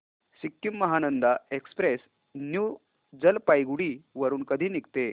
Sikkim Mahananda express new Jalpaiguri वरून कधी निघते